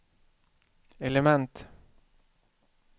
element